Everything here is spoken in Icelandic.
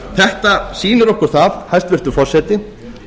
þetta sýnir okkur það hæstvirtur forseti